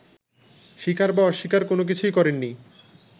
স্বীকার বা অস্বীকার কোনোকিছুই করেননি